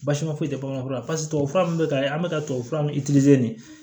Basima foyi tɛ bangan fɔlɔ pasi tubabu fura min bɛ ka ye an bɛ ka tubabufura mun de